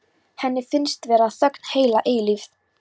Henni finnst vera þögn heila eilífð.